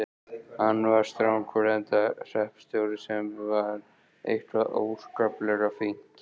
Hann var strangur, enda hreppstjóri, sem var eitthvað óskaplega fínt.